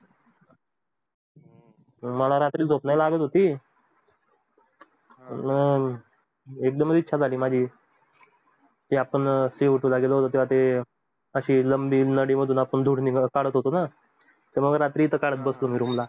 मला रात्री झोप नाही लागत होती अह एकदम इच्छा झाली माझी आपण काढत बसून आपणास काढत होतो तेव्हा रात्री तर काढत बसून room ला